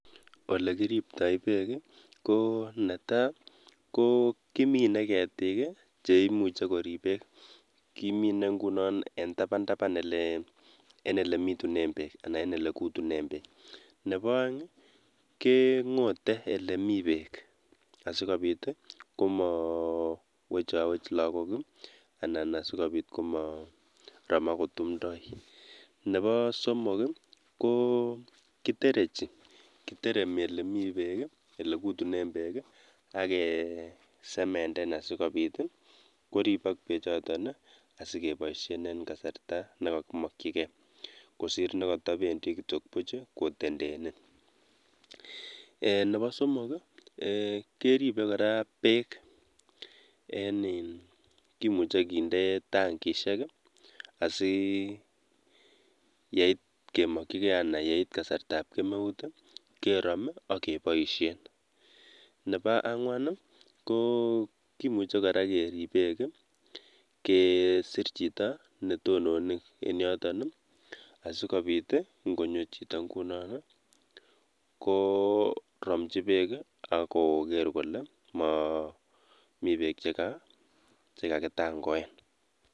Olekiriptoi beeek ko netaa ko kimine ketik cheimuche koriip beek, kimine ngunon en taban taban ingunon elee en elebitunen beek anan en elekutunen beek, nebo oeng kengote elee mii beek asikobit komowechowech lokok anan asikobit komorom ak kotumndoi, nebo somok ko kiterechi, kiteremi olemi beek olekutunen beek ak kesementen asikobit koribok bechoton asikeboishen en kasarta nekokimokyike kosir nekotobendi kitiok buch kotendene, nwbo somok keribe kora beek en iin kimuche kinde tangishek asiyeit kemokyike anan yeit kasartab kemeut kerom ak keboishen, nebo angwan ko kimuche kora kerib beek kesir chito netonone en yoton asikobit ing'onyo chito ng'unon ko romchi beek ak koker kolee momii bek chekakitangoen.